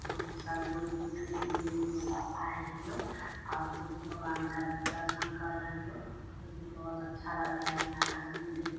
जो कि सब लोग देखने के लिए ये मेला आए हैं लोग और बुद्ध भगवान का दर्शन कर रहे है लोग जो कि बहोत अच्छा लग रहा है यहाँ का सीन देख --